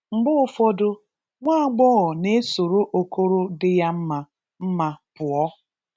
mgbe ụfọdụ, nwagbọghọ na-esoro okoro dị ya mma mma pụọ.